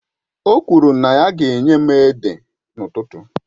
O kwuru na ya ga-enye m ede n'ụtụtụ